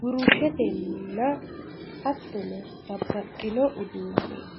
burushetenna hattono babbaxxino uduunneeti.